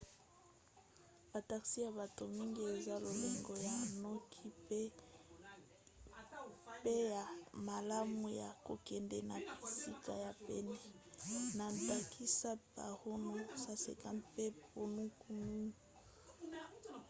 ba taxi ya bato mingi eza lolenge ya noki mpe ya malamu ya kokende na bisika ya pene na ndakisa paro nu 150 pe punakha nu 200